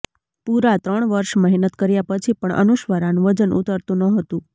પુરા ત્રણ વર્ષ મહેનત કર્યા પછી પણ અનુસ્વરાનું વજન ઉતરતું નહોતું